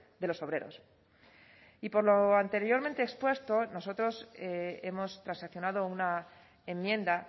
de los obreros y por lo anteriormente expuesto nosotros hemos transaccionado una enmienda